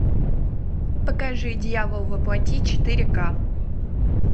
покажи дьявол во плоти четыре ка